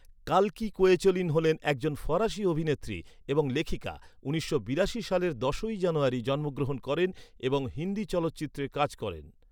কাল্কি Koechlin হলেন একজন ফরাসি অভিনেত্রী এবং লেখিকা উনিশশো বিরাশি সালের দশই জানুয়ারি জন্মগ্রহণ করেন এবং হিন্দি চলচ্চিত্রে কাজ করেন।